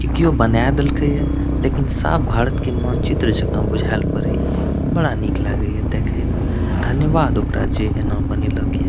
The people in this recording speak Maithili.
कियाे बनाए देल के ये लेकिन सब भारत के मानचित्र जाका बुझाएल पड़े ये बड़ा निक लागे ये देखे मे धन्यवाद ओकरा जे एना बनेलक ये।